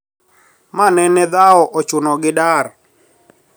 Ma nene dhao ochuno gi dar